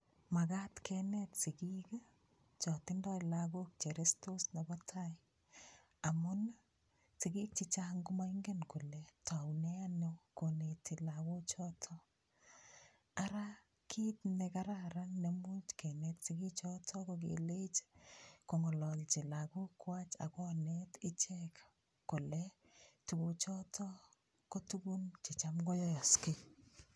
Makat kenet sikik cho tindoi lakok cho restos nebo tai amun sikik chechang' komaingen kole toune ano koneti lakochoto ara kiit nekararan nemuuch kenet sikichoto ko kelech kong'ololji lakokwach akonet ichek kole tukuchoto ko tukun checham koyoyoskei